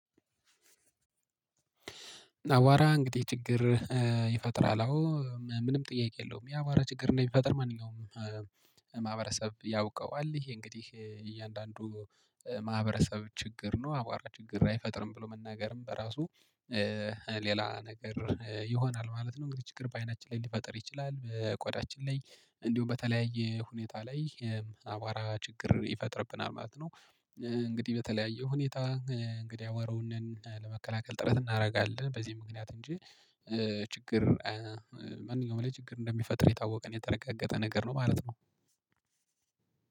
አዋራ እንግዲህ ችግር ይፈጥራል። አዎ ምንም ጥያቄ የለውም። የአዋራ ችግር እንደሚፈጥር ማንኛውም ማህበረሰብ ያውቀዋል። ይሄ እንግዲህ እያንዳንዱ ማህበረሰብ ችግር ነው አቧራ ችግር አይፈጥርም ብሎ መናገርም በራሱ ሌላ ነገር ይሆናል ማለት ነው። እንግዲህ ችግር በአይናችን ላይ ሊፈጥር ይችላል ቆዳችን ላይ እንዲሁም በተለያየ ሁኔታ ላይ አቧራ ችግር ይፈጥርብናል ማለት ነው። እንግዲህ በተለያየ ሁኔታ እንግዲህ አዋረውን ለመከላከል ጥረት እናደርጋለን በዚህ ምክንያት እንጂ። ችግር ማንኛውም ላይ ችግር እንደሚፈጥር የታወቀና የተረጋገጠ ነገር ነው ማለት ነው።